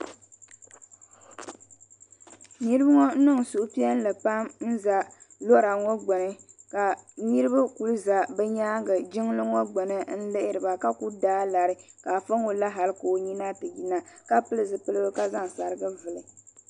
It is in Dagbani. miriba ŋɔ niŋ suhupiɛlli pam n za lora ŋɔ gbini ka niriba kuli za bɛ nyaanga jiŋli ŋɔ gbini n lihiriba a mulidaa lari ka afa ŋɔ la hali ka o nyina ti yina ka pili zipiligu ka zaŋ sariga vili.